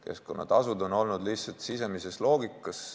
Keskkonnatasud on olnud siin lihtsalt sisemises loogikas.